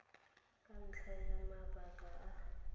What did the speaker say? ka ntlha ya mabaka a